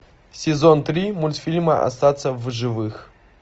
сезон три мультфильма остаться в живых